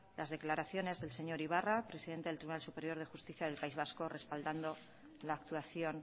las declaraciones del señor ibarra presidente del tribunal superior de justicia del país vasco respaldando la actuación